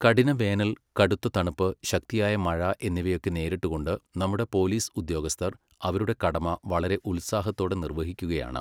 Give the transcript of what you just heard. കഠിനവേനൽ, കടുത്ത തണുപ്പ്, ശക്തിയായ മഴ എന്നിവയൊക്കെ നേരിട്ടുകൊണ്ട് നമ്മുടെ പോലീസ് ഉദ്യോഗസ്ഥർ അവരുടെ കടമ വളരെ ഉത്സാഹത്തോടെ നിർവഹിക്കുകയാണ്.